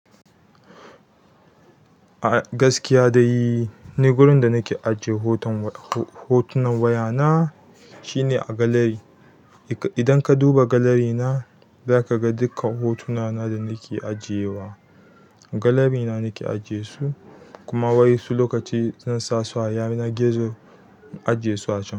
A gaskiya dai ni wurin da nake ajiye hotunan wayana shine a gallery. Idan ka duba gallery na, zaka ga dukkan hotunana da nake ajiye wa. Gallery na nake ajiyesu, kuma wai su lokaci zan sa su a yanar gizo, in ajiyesu a can.